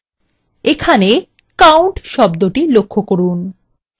এখানে count শব্দটি লক্ষ্য করুন